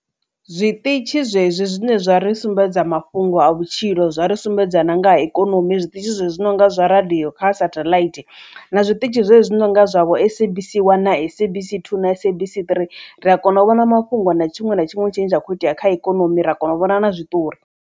Zwiṱitshi zwezwi zwine zwa ri sumbedza mafhungo a vhutshilo zwa ri sumbedza na nga ha ikonomi zwiṱitshi zwenezwi nonga zwa radio kha satellite na zwiṱitshi zwenezwi nonga zwavho Sabc one na Sabc two na Sabc three ri a kona u vhona mafhungo na tshiṅwe na tshiṅwe tshine tsha kho itea kha ikonomi ra kona u vhona na zwiṱori.